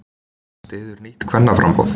Styður nýtt kvennaframboð